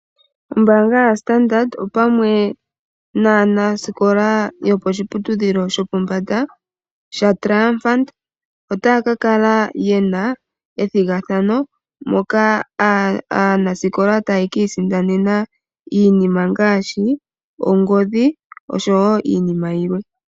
Ombaanga yoStandard opamwe naanasikola yoposhiputudhilo shopombanda, shaTriumphant, otaya kakala yena ethigathano, moka aanasikola taye kii sindanena iinima ngaashi, ongodhi, oshowo iinima yilwe.